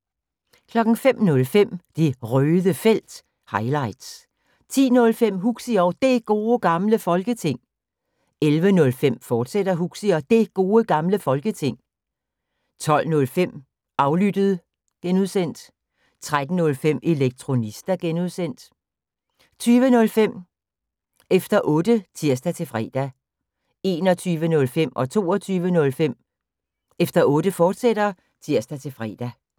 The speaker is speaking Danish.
05:05: Det Røde Felt – highlights 10:05: Huxi og Det Gode Gamle Folketing 11:05: Huxi og Det Gode Gamle Folketing, fortsat 12:05: Aflyttet (G) 13:05: Elektronista (G) 20:05: Efter Otte (tir-fre) 21:05: Efter Otte, fortsat (tir-fre) 22:05: Efter Otte, fortsat (tir-fre)